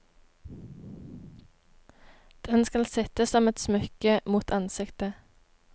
Den skal sitte som et smykke mot ansiktet.